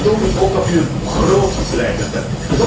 Maar toon nu ook dat u een 'groot' leider bent.